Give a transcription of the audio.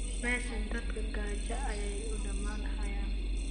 meshan dadka gaja ayay uu damanhayan